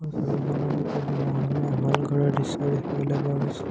ছবিখনত এটা দুমহলীয়া হ'ল ঘৰৰ দৃশ্য দেখিবলৈ পোৱা গৈছে।